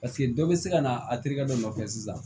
Paseke dɔ bɛ se ka na a terikɛ dɔ nɔfɛ sisan